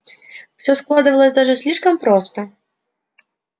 всё складывалось даже слишком просто